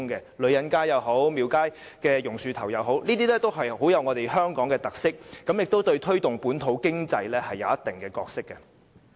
無論女人街也好、廟街也好、榕樹頭也好，它們也富有香港特色，亦在推動本土經濟上擔當一定角色。